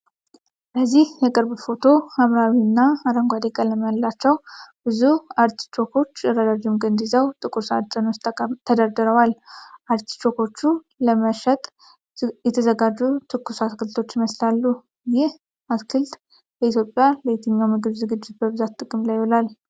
በዚህ የቅርብ ፎቶ፣ ሐምራዊና አረንጓዴ ቀለም ያላቸው ብዙ አርቲቾኮች ረዣዥም ግንድ ይዘው ጥቁር ሳጥን ውስጥ ተደርድረዋል። አርቲቾኮቹ ለመሸጥ የተዘጋጁ ትኩስ አትክልቶች ይመስላሉ። ይህ አትክልት በኢትዮጵያ ለየትኛው ምግብ ዝግጅት በብዛት ጥቅም ላይ ይውላል?